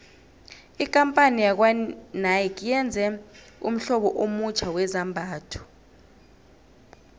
ikampani yakwanike yenze ummhlobo omutjha wezambhatho